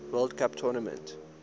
world cup tournament